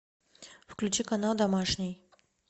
включи канал домашний